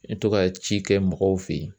N bɛ to ka ci kɛ mɔgɔw fɛ yen.